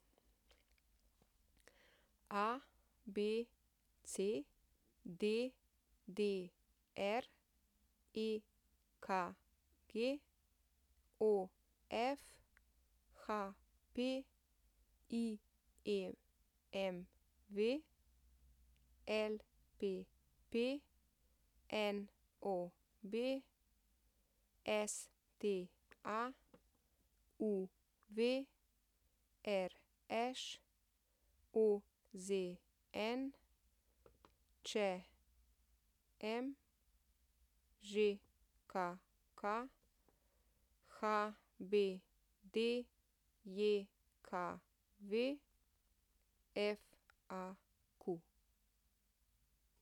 ABC, DDR, EKG, OF, HP, IMV, LPP, NOB, STA, UV, RŠ, OZN, ČM, ŽKK, HBDJKV, FAQ.